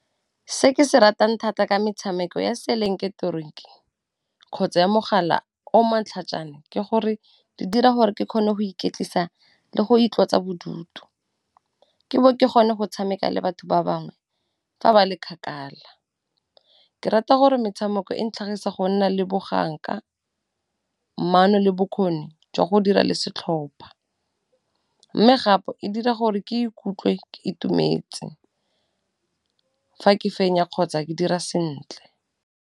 Se ke se ratang thata ka metshameko ya se kgotsa ya mogala o motlhajana, ke gore di dira gore ke kgone go iketlisa le go itlotsa bodutu ke ke gone go tshameka le batho ba bangwe fa ba le kgakala. Ke rata gore metshameko e ntlhagisa go nna le boganka, maano le bokgoni jwa go dira le setlhopha, mme gape e dira gore ke ikutlwe ke itumetse fa ke fenya kgotsa ke dira sentle.